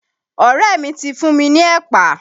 Ọ̀rẹ́ mi ti fún mi ni ẹ̀pà.